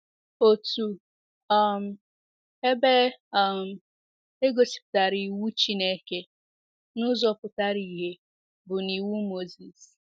Otu um ebe um e gosipụtara iwu Chineke n’ụzọ pụtara ìhè bụ n’Iwu Moses.